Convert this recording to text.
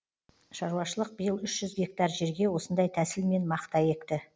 шаруашылық биыл үш жүз гектар жерге осындай тәсілмен мақта екті